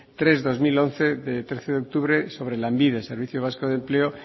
tres barra dos mil once de trece de octubre sobre lanbide servicio vasco de empleo